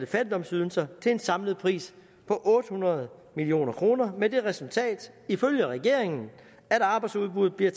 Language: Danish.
fattigdomsydelser til en samlet pris på otte hundrede million kroner med det resultat ifølge regeringen at arbejdsudbuddet bliver